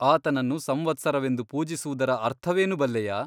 ಆತನನ್ನು ಸಂವತ್ಸರವೆಂದು ಪೂಜಿಸುವುದರ ಅರ್ಥವೇನು ಬಲ್ಲೆಯಾ ?